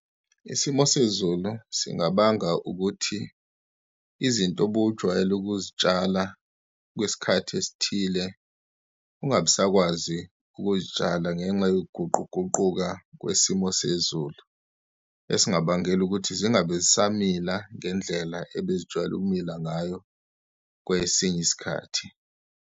Isimo sezulu singabanga ukuthi izinto obujwayele ukuzitshala kwesikhathi esithile, ungabisakwazi ukuzitshala ngenxa yokuguquguquka kwesimo sezulu, esingabangela ukuthi zingabe zisamila ngendlela ebezijwayele ukumila ngayo, kwesinye isikhathi.